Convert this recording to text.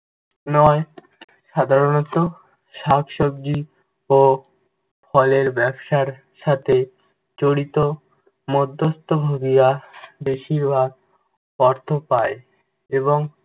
নয়, সাধারণত শাকসবজি ও ফলের ব্যবসার সাথে জড়িত মধ্যস্থ ভোগীরা বেশিরভাগ অর্থ পায় এবং